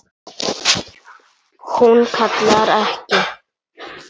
Hún kallar ekki